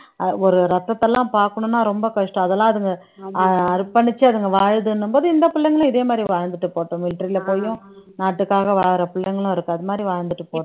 ஆஹ் ஒரு ரத்தத்தை எல்லாம் பார்க்கணும்ன்னா ரொம்ப கஷ்டம் அதெல்லாம் அதுங்க அஹ் அர்ப்பணிச்சு அதுங்க வாழுதுன்னும் போது இந்த பிள்ளைங்களும் இதே மாதிரி வாழ்ந்துட்டு போகட்டும் military ல போயும் நாட்டுக்காக வாழற பிள்ளைங்களும் இருக்கு அது மாதிரி வாழ்ந்துட்டு போ